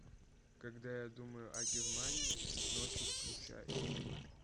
когда я думаю о германии ночью включай